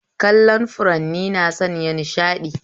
Kallon furanni na sanya nishaɗi